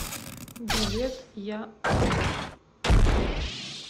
билет я папа